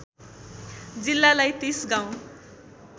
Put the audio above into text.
जिल्लालाई ३० गाउँ